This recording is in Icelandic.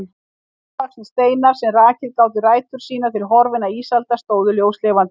Mosavaxnir steinar, sem rakið gátu ættir sínar til horfinna ísalda, stóðu ljóslifandi.